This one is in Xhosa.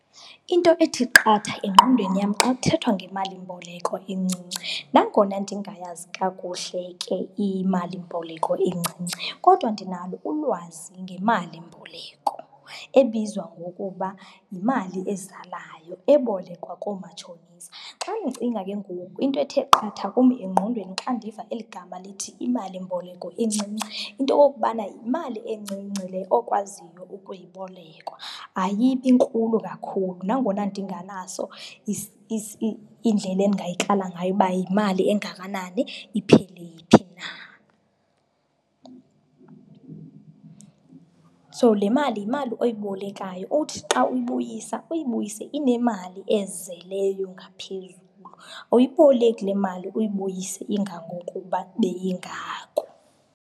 Into ethi qatha engqondweni yam xa kuthethwa ngemalimboleko encinci nangona ndingayazi kakuhle ke imalimboleko encinci, kodwa ndinalo ulwazi ngemalimboleko ebizwa ngokuba yimali ezalayo ebolekwa koomatshonisa. Xa ndicinga ke ngoku into ethe qatha kum engqondweni xa ndiva eli gama lithi imalimboleko encinci, into yokokubana yimali encinci le okwaziyo ukuyibolekwa. Ayibi nkulu kakhulu, nangona ndingenaso indlela endingayikrala ngayo uba yimali engakanani, iphele phi na. So, le mali yimali oyibolekayo owuthi xa uyibuyisa, uyibuyise inemali ezeleyo ngaphezulu. Awuyiboleki le mali uyibuyise ingangokuba beyingako.